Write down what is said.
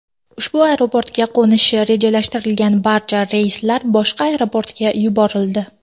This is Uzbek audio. Ushbu aeroportga qo‘nishi rejalashtirilgan barcha reyslar boshqa aeroportlarga yuborildi.